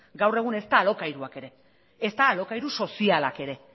gaur egun ezta alokairuak ere ezta alokairu sozialak ere